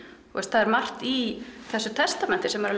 það er margt í þessu testamenti sem er